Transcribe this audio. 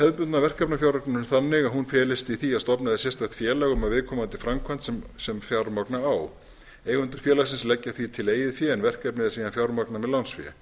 hefðbundna verkefnafjármögnun þannig að hún felist í því að stofnað er sérstakt félag um viðkomandi framkvæmd sem fjármagna á eigendur félagsins leggja því til eigið fé en verkefnið er síðan fjármagnað með lánsfé